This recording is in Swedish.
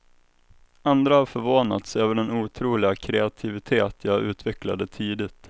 Andra har förvånats över den otroliga kreativitet jag utvecklade tidigt.